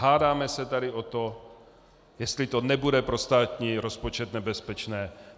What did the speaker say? Hádáme se tady o to, jestli to nebude pro státní rozpočet nebezpečné.